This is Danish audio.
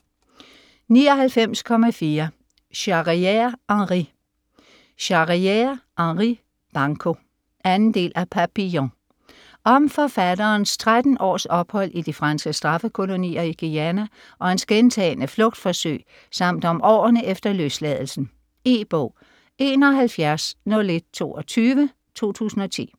99.4 Charrière, Henri Charrière, Henri: Banco 2. del af Papillon. Om forfatterens 13 års ophold i de franske straffekolonier i Guayana og hans gentagne flugtforsøg samt om årene efter løsladelsen. E-bog 710122 2010.